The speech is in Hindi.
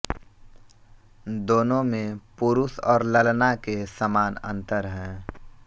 दोनों में पुरुष और ललना के समान अंतर है